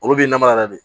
Olu b'i namara yɛrɛ de